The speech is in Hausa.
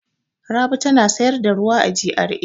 Rabi tana sayar da ruwa a GRA.